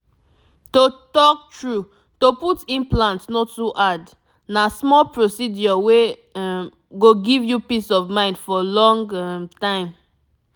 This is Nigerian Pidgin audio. to talk true to put implant no too hard na small procedure wey um go give you peace of mind for long um time